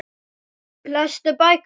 Lestu bækur?